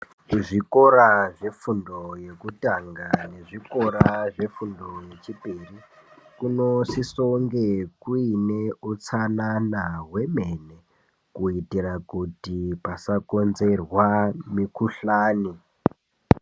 Zvikora zvefundo yekutanga nezvikora zvefundo yechipiri kunosise kunge kuine utsanana hwemene kuitira kuti pasakonzerwa mikhuhlani.